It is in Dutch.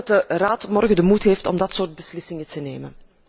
Ik hoop dat de Raad morgen de moed heeft om dat soort beslissingen te nemen.